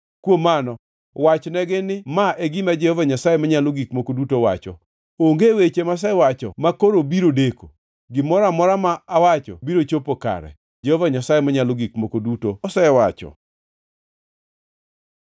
“Kuom mano wachnegi ni ma e gima Jehova Nyasaye Manyalo Gik Moko Duto wacho: Onge weche masewacho makoro biro deko, Gimoro amora ma awacho biro chopo kare, Jehova Nyasaye Manyalo Gik Moko Duto osewacho.”